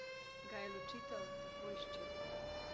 Ga je ločitev tako izčrpala?